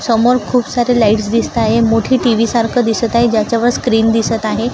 समोर खूप सारे लाइट्स दिसत आहे मोठी टी_व्ही सारखं दिसत आहे ज्याच्यावर स्क्रीन दिसत आहे.